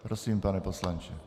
Prosím, pane poslanče.